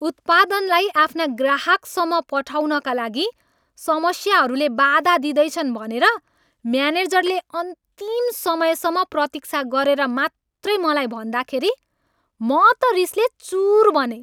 उत्पादनलाई आफ्ना ग्राहकसम्म पठाउनका लागि समस्याहरूले बाधा दिँदैछन् भनेर म्यानेजरले अन्तिम समयसम्म प्रतीक्षा गरेर मात्रै मलाई भन्दाखेरि म त रिसले चुर बनेँ।